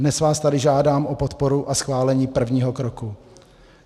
Dnes vás tady žádám o podporu a schválení prvního kroku.